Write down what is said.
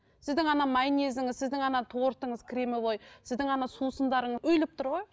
сіздің ана майонезіңіз сіздің ана тортыңыз кремовой сіздің ана сусындарың үйіліп тұр ғой